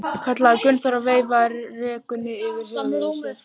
kallaði Gunnþór og veifaði rekunni yfir höfði sér.